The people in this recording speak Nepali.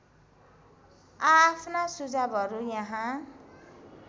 आआफ्ना सुझावहरू यहाँ